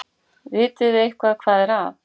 Vitiði eitthvað hvað er að?